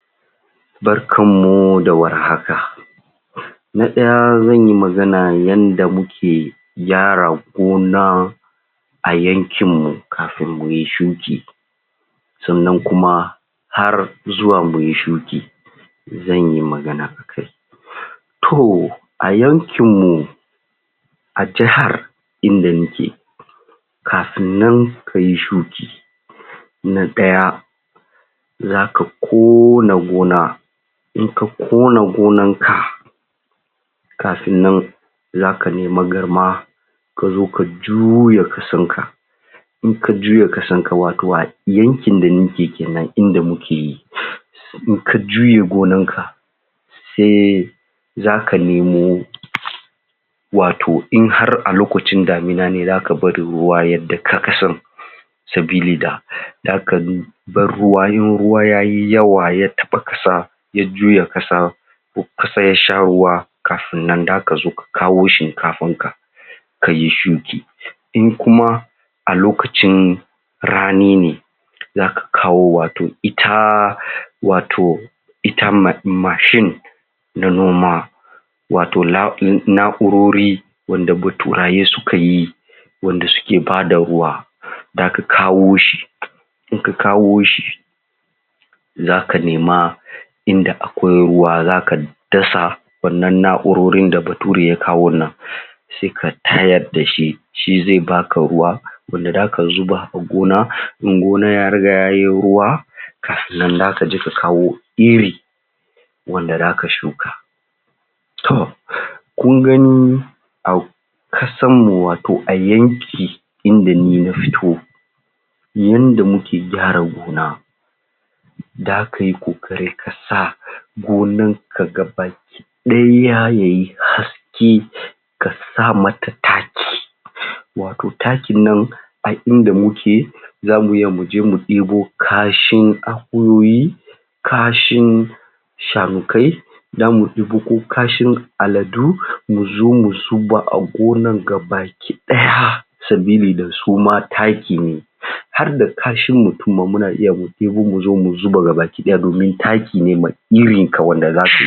Barkar mu da warhaka Da ɗaya zanyi magana yadda muke gyara gona a yankin mu kafin muyi shuki Sannan kuma har zuwa muyi shuki zan yi magana akai to a yankin mu a jihar inda muke kafin nan kayi shuki na ɗaya zaka kona gona in ka kona gonan ka kafin nan zaka nemi Garma kazo juya ƙasar ka indan ka juya ƙasan ka wato a yankin da nake kenan inda muke yi in ka juye gonar ka sai zaka nemo wato in har a lokacin damina ne zaka bari ruwa ya daka ƙasan sabili da zaka dau bar ruwa irin ruwa yayi yawa ya taɓa ƙasan juya ƙasar ƙasar yasha ruwa kafin nan zaka zo ka kawo Shinkafan ka kayi shuki in kuma a lokacin rani ne zaka kawo wato ita wato ita, wato ita Mash Mashin na noma wato Na na Na’urori wanda baturaye suka yi wanda suke bada ruwa zaka kawo shi in ka kawo shi zaka nema inda akwai ruwa zaka dasa wannan Na’urori da bature ya kawon nan sai ka tayar dashi shi zai baka ruwa wanda zaka zuba a gona in gona ya riga yayi ruwa kafin kan kaje ka kawo Iri wanda zaka shuka to kun gani akw a ƙasar mu wato a yankin inda Ni na fito yadda muke gyara gona zaka yi kokari kasa gonar ka gabaki ɗaya yayi haske kasa mata taki wato wato takin nan a ina muke zamu iya muje mu ɗebo kashin Akuyoyi kashin shanukai zamu ɗebo ko kashin Aladu muzo mu zuba a gona gabaki ɗaya sabili da suma taki ne har da kashin mutum ma muna iya mu ɗebo muzo mu zuba gabaki ɗaya domin taki ne mai Irin ka wanda